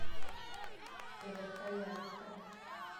верхоянска